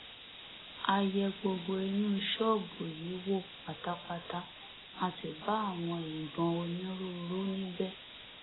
a yẹ gbogbo inú ṣọọbù yìí wò pátápátá a sì bá àwọn ìbọn onírúurú níbẹ